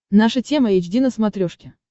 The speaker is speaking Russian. наша тема эйч ди на смотрешке